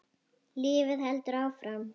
Lífið heldur áfram.